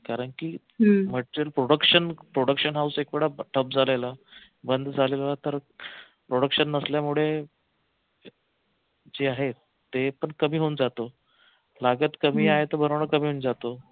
कारंकी production house एकवेळा झालेलं बंद झालेलं तर production नसल्यामुळे जे आहेत ते पण कमी होऊन जात लागत कमी आहे तर बनवनं कमी होऊन जात.